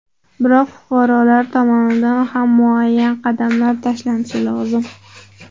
Biroq fuqarolar tomonidan ham muayyan qadamlar tashlanishi lozim.